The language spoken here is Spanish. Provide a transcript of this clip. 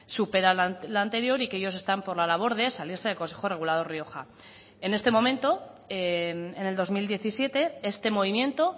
supera la anterior y que ellos están por la labor de salirse del consejo regulador rioja en este momento en el dos mil diecisiete este movimiento